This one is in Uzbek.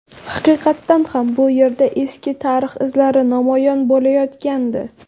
Haqiqatan ham bu yerda eski tarix izlari namoyon bo‘layotgandi”.